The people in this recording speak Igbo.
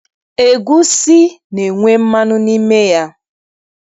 Egwusi na-enwe mmanụ n'ime ya.